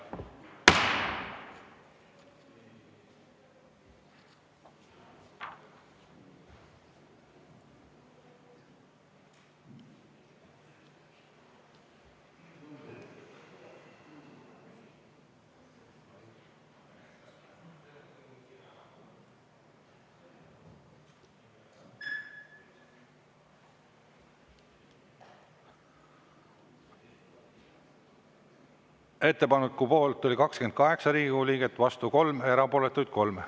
Ettepaneku poolt oli 28 Riigikogu liiget, vastu 3, erapooletuid 3.